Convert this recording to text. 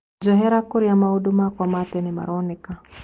Njohera kũria maundu makwa ma tene maraoneka